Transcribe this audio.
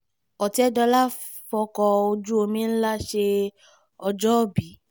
ọ̀tẹ̀dọ́là fọ́kọ̀ ojú omi ńlá ṣe ọjọ́òbí